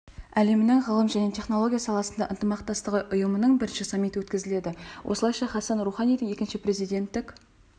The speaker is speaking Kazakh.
әлемінің ғылым және технология саласындағы ынтымақтастығы ұйымының бірінші саммиті өткізіледі осылайша хасан руханидің екінші президенттік